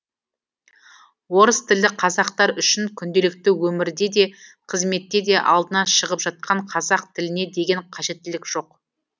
орыстілді қазақтар үшін күнделікті өмірде де қызметте де алдынан шығып жатқан қазақ тіліне деген қажеттілік жоқ